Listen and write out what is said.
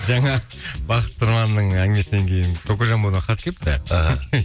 жаңа бақыт тұрманның әңгімесінен кейін кокожамбодан хат келіпті іхі